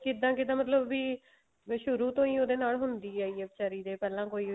ਕਿੱਦਾਂ ਕਿੱਦਾਂ ਮਤਲਬ ਵੀ ਸ਼ੁਰੂ ਤੋਂ ਹੀ ਉਹਦੇ ਨਾਲ ਹੁੰਦੀ ਆਈ ਹੈ ਵਿਚਾਰੀ ਦੇ ਪਹਿਲਾਂ ਕੋਈ